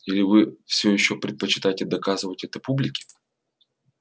или вы всё ещё предпочитаете доказывать это публике